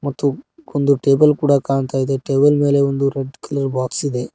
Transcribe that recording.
ಮತ್ತು ಒಂದು ಟೇಬಲ್ ಕೂಡಾ ಕಾಣ್ತಾಇದೆ ಟೇಬಲ್ ಮೇಲೆ ಒಂದು ರೆಡ್ ಕಲರ್ ಬಾಕ್ಸ್ ಇದೆ.